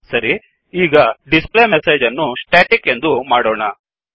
ಸರಿ ಈಗ displayMessageಡಿಸ್ ಪ್ಲೇ ಮೆಸೇಜ್ ಅನ್ನು staticಸ್ಟೆಟಿಕ್ ಎಂದು ಮಾಡೋಣ